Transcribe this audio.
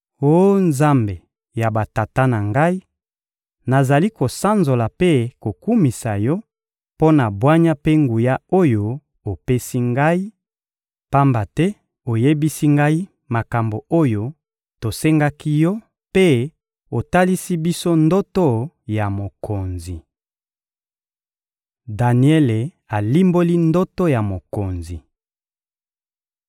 Oh Nzambe ya batata na ngai, nazali kosanzola mpe kokumisa Yo mpo na bwanya mpe nguya oyo opesi ngai, pamba te oyebisi ngai makambo oyo tosengaki Yo mpe otalisi biso ndoto ya mokonzi. Daniele alimboli ndoto ya mokonzi